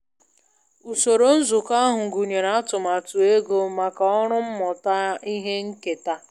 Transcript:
Usoro nzụkọ ahụ gụnyere atụmatụ ego maka ọrụ mmụta ihe nketa